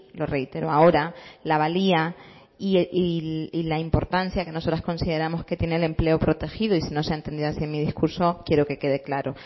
lo reitero ahora la valía y la importancia que nosotras consideramos que tiene el empleo protegido y si no se ha entendido así en mi discurso quiereo que quede claro